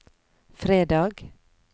fredag